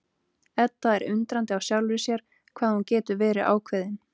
Edda er undrandi á sjálfri sér hvað hún getur verið ákveðin.